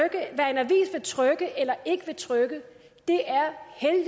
hvad trykke eller ikke vil trykke